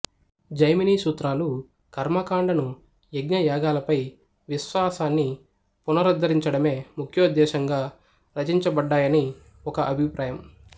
జైమిని సూత్రాలు కర్మకాండను యజ్ఞ యాగాలపై విశ్వాసాన్ని పునరుద్ధరించడమే ముఖ్యోద్ధేశ్యంగా రచించబడ్డాయని ఒక అభిప్రాయం